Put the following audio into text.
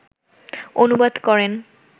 অনুবাদ করেন